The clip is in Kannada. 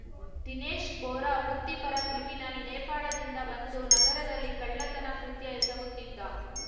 ದಿನೇಶ್‌ ಬೋರಾ ವೃತ್ತಿಪರ ಕ್ರಿಮಿನಲ್‌ ನೇಪಾಳದಿಂದ ಬಂದು ನಗರದಲ್ಲಿ ಕಳ್ಳತನ ಕೃತ್ಯ ಎಸಗುತ್ತಿದ್ದ